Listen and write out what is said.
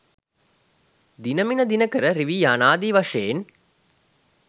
දිණමිණ දිනකර රිවි යානදී වශයෙන්